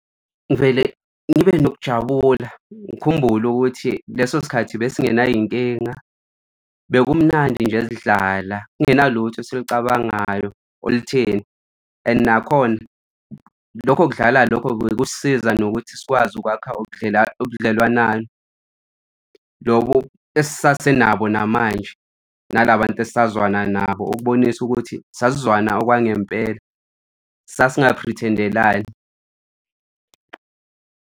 Ngivele ngibe nokujabula, ngikhumbule ukuthi leso sikhathi besingenay'nkinga, bekumnandi nje sidlala kungena lutho esilucabangayo olutheni. And nakhona lokho kudlala lokho bekusisiza nokuthi sikwazi ukwakha ubudlelwana lobo esasenabo namanje nala bantu esisazwana nabo ukubonisa ukuthi sisazwana okwangempela sasingaphrithendelani.